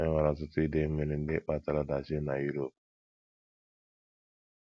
E nwere ọtụtụ idei mmiri ndị kpatara ọdachi na Europe.